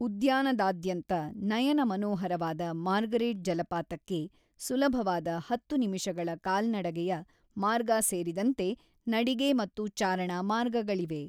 ಉದ್ಯಾನದಾದ್ಯಂತ ನಯನ ಮನೋಹರವಾದ ಮಾರ್ಗರೇಟ್ ಜಲಪಾತಕ್ಕೆ ಸುಲಭವಾದ ಹತ್ತು ನಿಮಿಷಗಳ ಕಾಲ್ನಡಗೆಯ ಮಾರ್ಗ ಸೇರಿದಂತೆ ನಡಿಗೆ ಮತ್ತು ಚಾರಣ ಮಾರ್ಗಗಳಿವೆ.